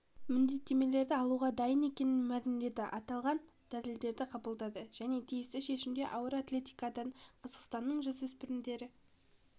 міндеттемелерді алуға дайын екенін мәлімдеді аталған дәлелдерді қабылдады және тиісті шешімде ауыр атлетикадан қазақстанның жасөспірімдері